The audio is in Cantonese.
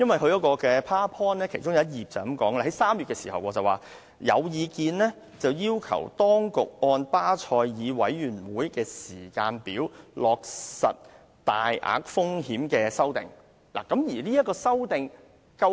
其中一張投影片提到，有意見要求當局按巴塞爾委員會的時間表落實大額風險承擔框架的修訂。